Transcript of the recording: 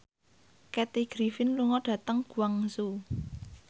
Kathy Griffin lunga dhateng Guangzhou